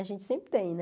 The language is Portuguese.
A gente sempre tem, né?